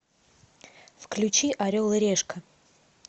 включи орел и решка